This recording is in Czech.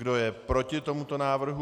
Kdo je proti tomuto návrhu?